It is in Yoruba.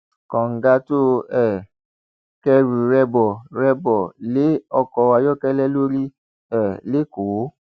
kọńdà tó um kẹrù rẹ bọ rẹ bọ lé ọkọ ayọkẹlẹ lórí um lẹkọọ